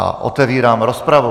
A otevírám rozpravu.